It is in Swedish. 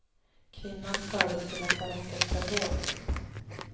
Kvinnan fördes till lasarettet för vård.